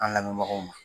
An lamɛnbagaw ma